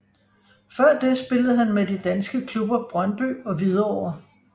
Før det spillede han med de danske klubber Brøndby og Hvidovre